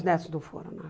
Os netos não foram, não.